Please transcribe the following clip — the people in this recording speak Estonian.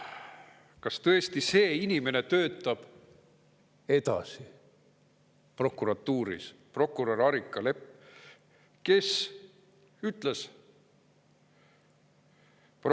Kas tõesti see inimene töötab edasi prokuratuuris, prokurör Airika Lepp?